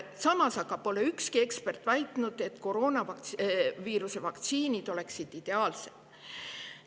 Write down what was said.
Samas pole ükski ekspert väitnud, et koroonaviiruse vaktsiinid oleksid ideaalsed.